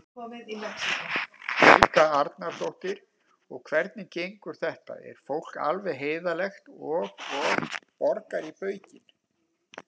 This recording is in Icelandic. Helga Arnardóttir: Og hvernig gengur þetta, er fólk alveg heiðarlegt og, og borgar í baukinn?